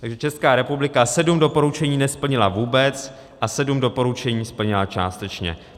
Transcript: Takže Česká republika sedm doporučení nesplnila vůbec a sedm doporučení splnila částečně.